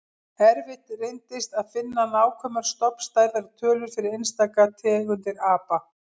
Erfitt reyndist að finna nákvæmar stofnstærðar tölur fyrir einstaka tegundir apa.